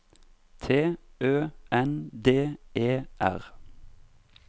T Ø N D E R